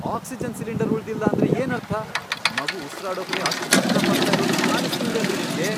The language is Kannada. ಆಕ್ಸಿಜನ್ ಸಿಲಿಂಡರ್ ಉಳ್ದಿಲ್ಲ ಅಂದ್ರೆ ಏನರ್ಥ? ಮಗು ಉಸ್ರಾಡೋಕೆ ಅಷ್ಟ್ ಕಷ್ಟಪಡ್ತಾ ಇರೋದ್ ಕಾಣಿಸ್ತಿಲ್ವೇನ್ರಿ ನಿಮ್ಗೆ?